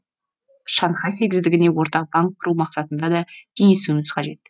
шанхай сегіздігіне ортақ банк құру мақсатында да кеңесуіміз қажет